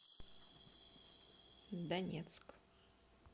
донецк